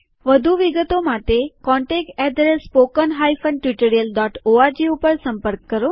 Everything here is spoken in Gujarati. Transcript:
વધુ વિગતો માટે contactspoken tutorialorg ઉપર સંપર્ક કરો